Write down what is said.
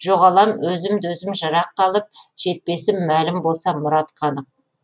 жоғалам өзімді өзім жыраққа алып жетпесім мәлім болса мұратқа анық